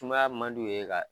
Sumaya man d'u ye ka